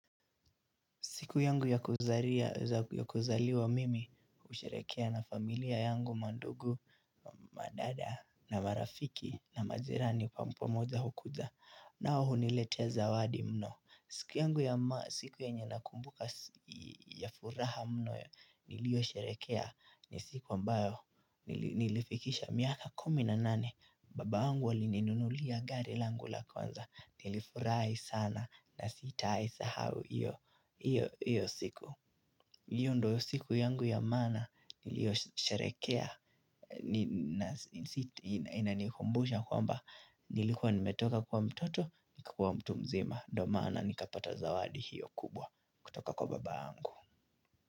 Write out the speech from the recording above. Siku yangu ya kuzaliwa mimi, usherehekea na familia yangu, madugu, madada, na marafiki, na majirani kwa pomoja hukuja. Nao huniletea zawadi mno. Siku yangu ya siku yenye nakumbuka ya furaha mno, nilio sherekea ni siku ambayo nilifikisha miaka kumi na nane. Baba yangu alininunulia gari langu la kwanza. Nilifurahi sana na sitawahi sahau. Hio siku hiyo ndo siku yangu ya maana nilio sharehekea inanihumbusha kwamba nilikuwa nimetoka kuwa mtoto, nikakua mtu mzima ndoo mana nikapata zawadi hiyo kubwa kutoka kwa baba angu.